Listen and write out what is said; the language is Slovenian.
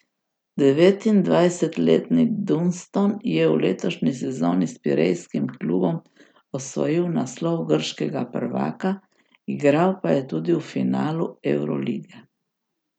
Devetindvajsetletni Dunston je v letošnji sezoni s pirejskim klubom osvojil naslov grškega prvaka, igral pa je tudi v finalu evrolige.